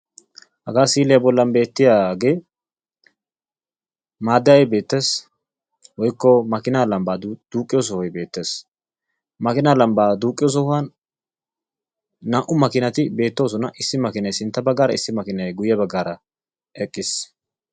hagaa si'iliya bolli beetiyaagee maadayay beetees woykko makiinaa lambaa duuqiyo sohoy beetees. makiinaa lambaa duuqiyo sohuwn naa'u makiinay eqiis.